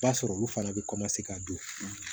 Ba sɔrɔ olu fana bɛ ka don